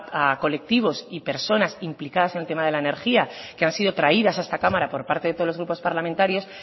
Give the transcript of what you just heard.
a colectivos y personas implicadas en el tema de la energía que han sido traídas a esta cámara por parte de todos los grupos parlamentarios